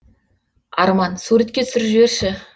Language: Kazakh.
арман суретке түсіріп жіберші